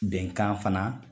Bɛnkan fana